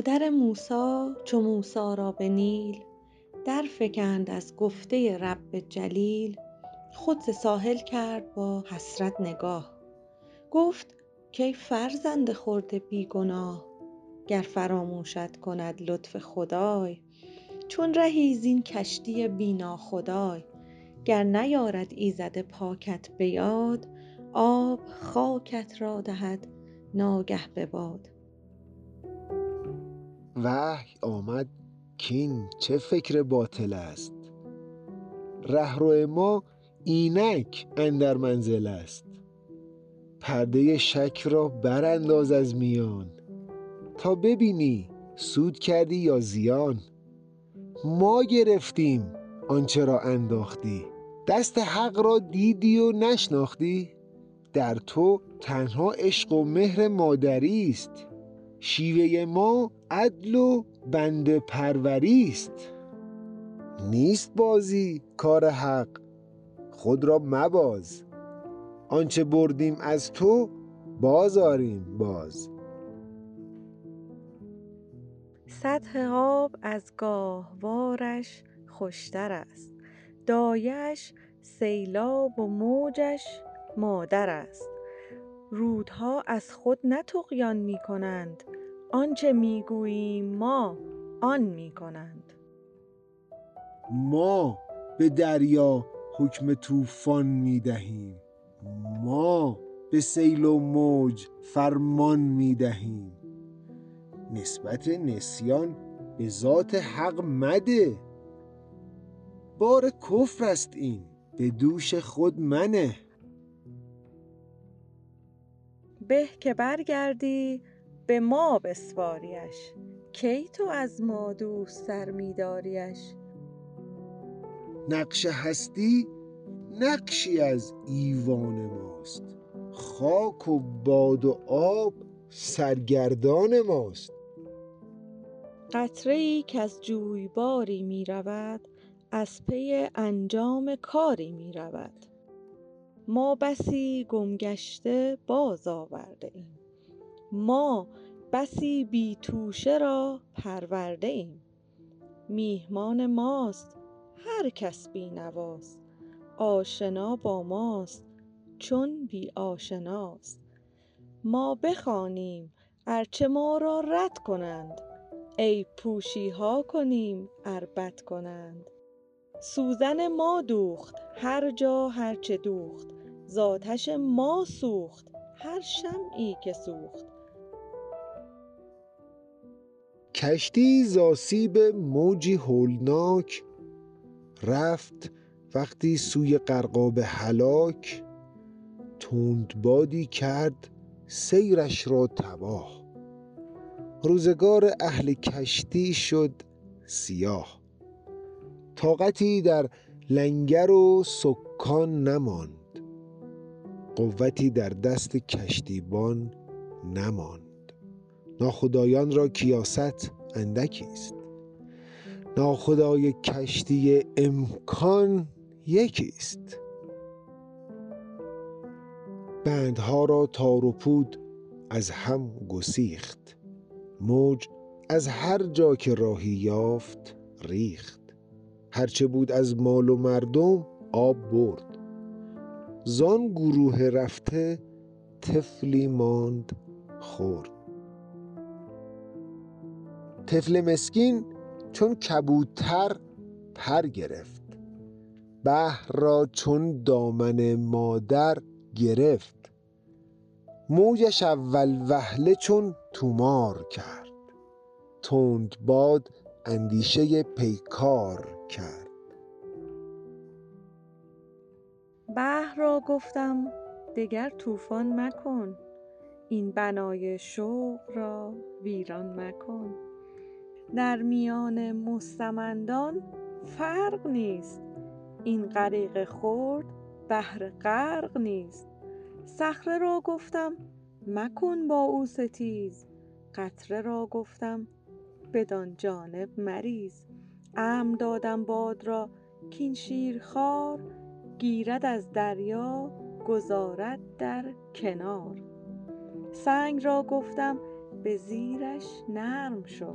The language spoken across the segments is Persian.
مادر موسی چو موسی را به نیل در فکند از گفته رب جلیل خود ز ساحل کرد با حسرت نگاه گفت کای فرزند خرد بی گناه گر فراموشت کند لطف خدای چون رهی زین کشتی بی ناخدای گر نیارد ایزد پاکت به یاد آب خاکت را دهد ناگه به باد وحی آمد کاین چه فکر باطل است رهرو ما اینک اندر منزل است پرده شک را برانداز از میان تا ببینی سود کردی یا زیان ما گرفتیم آنچه را انداختی دست حق را دیدی و نشناختی در تو تنها عشق و مهر مادری است شیوه ما عدل و بنده پروری است نیست بازی کار حق خود را مباز آنچه بردیم از تو باز آریم باز سطح آب از گاهوارش خوشتر است دایه اش سیلاب و موجش مادر است رودها از خود نه طغیان میکنند آنچه میگوییم ما آن میکنند ما به دریا حکم طوفان میدهیم ما به سیل و موج فرمان میدهیم نسبت نسیان بذات حق مده بار کفر است این بدوش خود منه به که برگردی بما بسپاریش کی تو از ما دوست تر میداریٖش نقش هستی نقشی از ایوان ماست خاک و باد و آب سرگردان ماست قطره ای کز جویباری میرود از پی انجام کاری میرود ما بسی گم گشته باز آورده ایم ما بسی بی توشه را پرورده ایم میهمان ماست هر کس بینواست آشنا با ماست چون بی آشناست ما بخوانیم ار چه ما را رد کنند عیب پوشیها کنیم ار بد کنند سوزن ما دوخت هر جا هر چه دوخت زاتش ما سوخت هر شمعی که سوخت کشتیی زاسیب موجی هولناک رفت وقتی سوی غرقاب هلاک تند بادی کرد سیرش را تباه روزگار اهل کشتی شد سیاه طاقتی در لنگر و سکان نماند قوتی در دست کشتیبان نماند ناخدایان را کیاست اندکیست ناخدای کشتی امکان یکیست بندها را تار و پود از هم گسیخت موج از هر جا که راهی یافت ریخت هر چه بود از مال و مردم آب برد زان گروه رفته طفلی ماند خرد طفل مسکین چون کبوتر پر گرفت بحر را چون دامن مادر گرفت موجش اول وهله چون طومار کرد تند باد اندیشه پیکار کرد بحر را گفتم دگر طوفان مکن این بنای شوق را ویران مکن در میان مستمندان فرق نیست این غریق خرد بهر غرق نیست صخره را گفتم مکن با او ستیز قطره را گفتم بدان جانب مریز امر دادم باد را کان شیرخوار گیرد از دریا گذارد در کنار سنگ را گفتم بزیرش نرم شو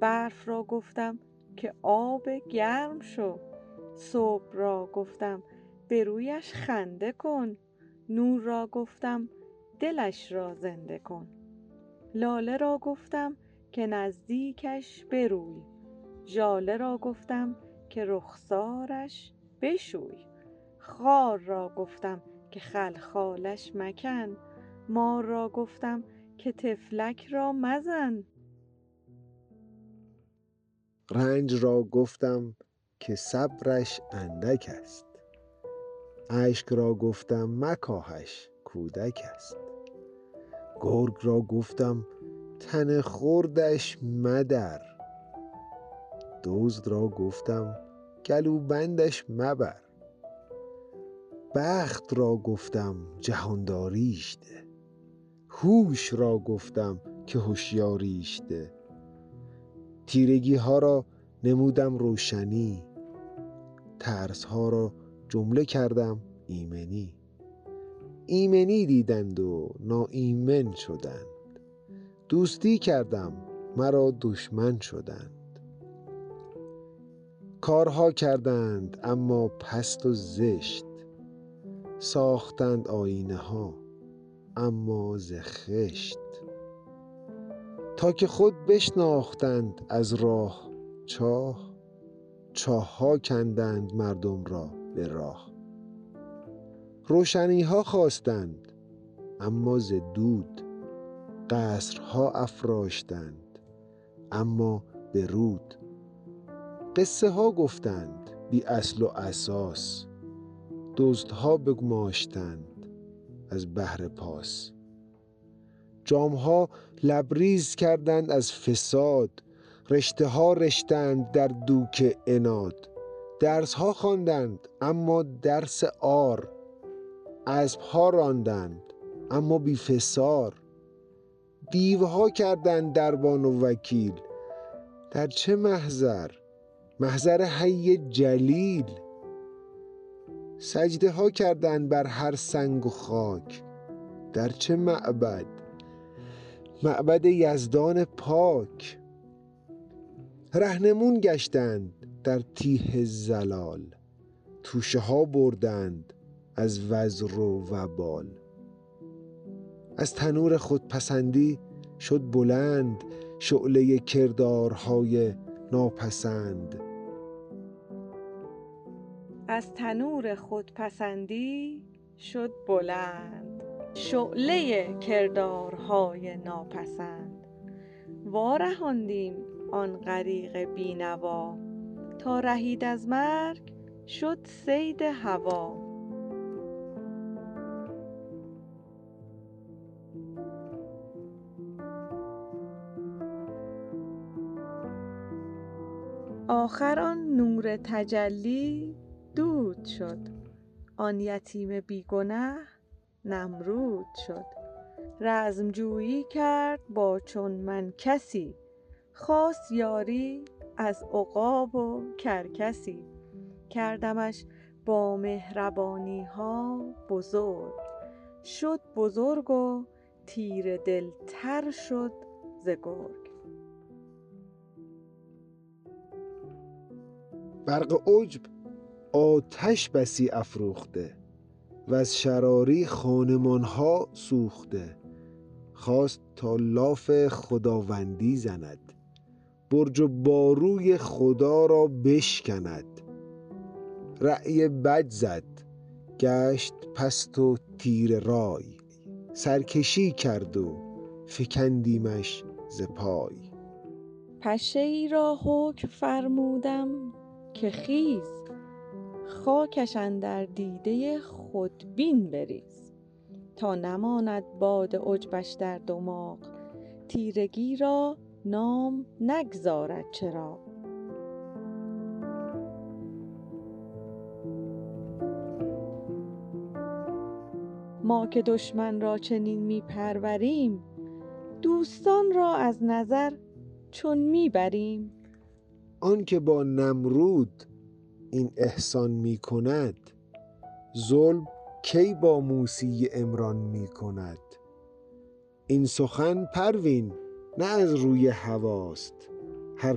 برف را گفتم که آب گرم شو صبح را گفتم به رویش خنده کن نور را گفتم دلش را زنده کن لاله را گفتم که نزدیکش بروی ژاله را گفتم که رخسارش بشوی خار را گفتم که خلخالش مکن مار را گفتم که طفلک را مزن رنج را گفتم که صبرش اندک است اشک را گفتم مکاهش کودک است گرگ را گفتم تن خردش مدر دزد را گفتم گلوبندش مبر بخت را گفتم جهانداریش ده هوش را گفتم که هشیاریش ده تیرگیها را نمودم روشنی ترسها را جمله کردم ایمنی ایمنی دیدند و ناایمن شدند دوستی کردم مرا دشمن شدند کارها کردند اما پست و زشت ساختند آیینه ها اما ز خشت تا که خود بشناختند از راه چاه چاهها کندند مردم را به راه روشنیها خواستند اما ز دود قصرها افراشتند اما به رود قصه ها گفتند بی اصل و اساس دزدها بگماشتند از بهر پاس جامها لبریز کردند از فساد رشته ها رشتند در دوک عناد درسها خواندند اما درس عار اسبها راندند اما بی فسار دیوها کردند دربان و وکیل در چه محضر محضر حی جلیل سجده ها کردند بر هر سنگ و خاک در چه معبد معبد یزدان پاک رهنمون گشتند در تیه ضلال توشه ها بردند از وزر و وبال از تنور خودپسندی شد بلند شعله کردارهای ناپسند وارهاندیم آن غریق بی نوا تا رهید از مرگ شد صید هویٰ آخر آن نور تجلی دود شد آن یتیم بی گنه نمرود شد رزمجویی کرد با چون من کسی خواست یاری از عقاب و کرکسی کردمش با مهربانیها بزرگ شد بزرگ و تیره دلتر شد ز گرگ برق عجب آتش بسی افروخته وز شراری خانمان ها سوخته خواست تا لاف خداوندی زند برج و باروی خدا را بشکند رای بد زد گشت پست و تیره رای سرکشی کرد و فکندیمش ز پای پشه ای را حکم فرمودم که خیز خاکش اندر دیده خودبین بریز تا نماند باد عجبش در دماغ تیرگی را نام نگذارد چراغ ما که دشمن را چنین میپروریم دوستان را از نظر چون میبریم آنکه با نمرود این احسان کند ظلم کی با موسی عمران کند این سخن پروین نه از روی هویٰ ست هر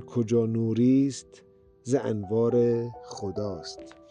کجا نوری است ز انوار خداست